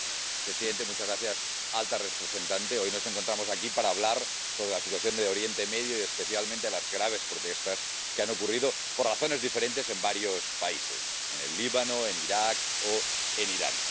Señor presidente, señora alta representante, hoy nos encontramos aquí para hablar sobre la situación de Oriente Medio y especialmente de las graves protestas que han ocurrido, por razones diferentes, en varios países en el Líbano, en Irak o en Irán.